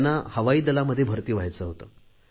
त्यांना हवाईदलामध्ये भरती व्हायचे होते